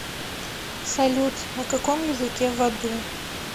салют на каком языке в аду